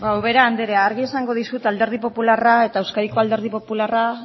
ubera andrea argi esango dizut alderdi popularra eta euskadiko alderdi popularra